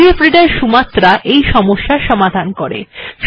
PDF reader Sumatra এই সমস্যার সমাধান করে